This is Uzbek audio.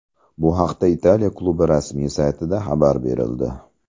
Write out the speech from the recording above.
Bu haqda Italiya klubi rasmiy saytida xabar berildi .